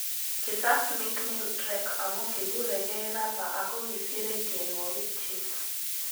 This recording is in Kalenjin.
Kii sas Mikmill Drek amu kiguregei rapa ago kisire tyenwogik chiik